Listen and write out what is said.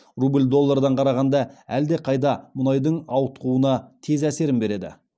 рубль доллардан қарағанда әлдеқайда мұнайдың ауытқуына тез әсерін береді